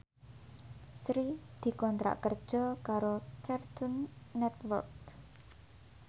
Sri dikontrak kerja karo Cartoon Network